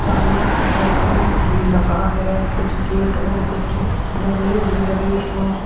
सामने की side sink भी लगा है कुछ गेट और कुछ जंगले भी लगे है।